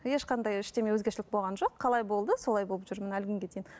ешқандай ештеме өзгешілік болған жоқ қалай болды солай болып жүрмін әлі күнге дейін